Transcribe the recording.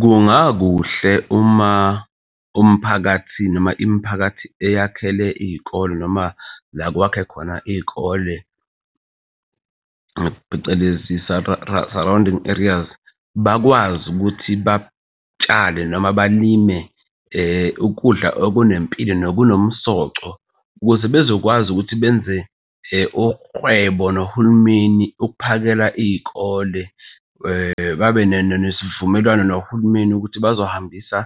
Kungakuhle uma umphakathi noma imiphakathi eyakhele iy'kole noma la kwakhe khona iy'kole phecelezi surrounding areas bakwazi ukuthi batshale noma balime ukudla okunempilo nokunomsoco, ukuze bezokwazi ukuthi benze uhwebo nohulumeni. Ukuphakela iy'kole babe nesivumelwano nohulumeni ukuthi bazohambisa